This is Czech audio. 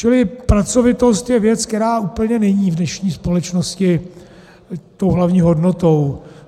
Čili pracovitost je věc, která úplně není v dnešní společnosti tou hlavní hodnotou.